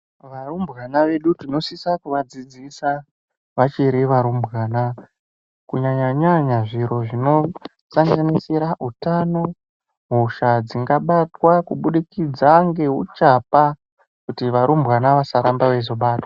Varumbwana vedu tinosisa kuvadzidzisa vachiri varumbwana kunyanya nyanya zviro zvinosanganisira utano, hosha dzingabatwa kubudikidza ngeuchapa kuti varumbwana vasaramba vachibatwa.